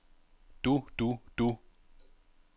du du du